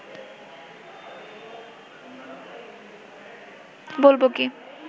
বলব কি